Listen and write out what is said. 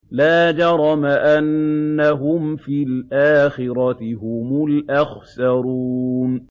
لَا جَرَمَ أَنَّهُمْ فِي الْآخِرَةِ هُمُ الْأَخْسَرُونَ